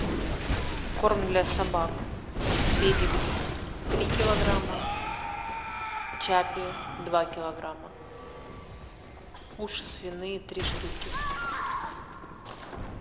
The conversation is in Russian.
корм для собак педигри три килограмма чаппи два килограмма уши свиные три штуки